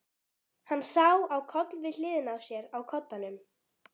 Hann sá á koll við hliðina á sér á koddanum.